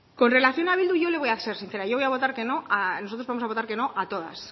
con relación a bildu yo le voy a ser sincera yo voy a votar que no nosotros vamos a votar que no a todas